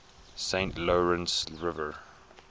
saint lawrence river